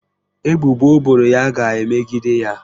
Ebubo o boro ya ga-emegide ya.